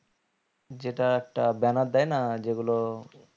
যেটা একটা banner দেয় না যেগুলো